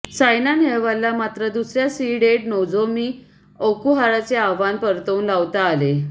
सायना नेहवालला मात्र दुसर्या सीडेड नोझोमी ओकुहाराचे आव्हान परतवून लावता आले